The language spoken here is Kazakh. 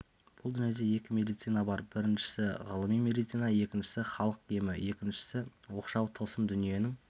бұл дүниеде екі медицина бар біріншісі ғылыми медицина екіншісі халық емі екіншісі оқшау тылсым дүниенің